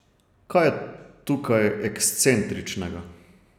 Kaj je tukaj ekscentričnega?